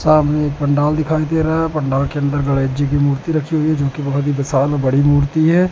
सामने एक पंडाल दिखाई दे रहा है पंडाल के अंदर गणेश जी की मूर्ति रखी हुई है जो की बहोत ही विशाल और बड़ी मूर्ति है।